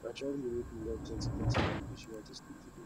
na traveling make me learn plentyplenty language wey i dey speak today